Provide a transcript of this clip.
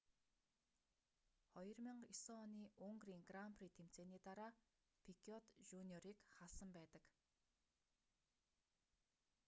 2009 оны унгарын гран при тэмцээний дараа пикёт жуниорыг халсан байдаг